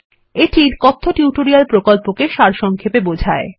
এটি কথ্য টিউটোরিয়াল প্রকল্পকে সারসংক্ষেপে বোঝায়